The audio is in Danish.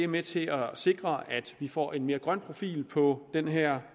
med til at sikre at vi får en mere grøn profil på den her